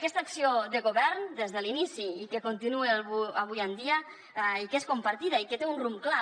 aquesta acció de govern des de l’inici i que continua avui en dia i que és compartida i que té un rumb clar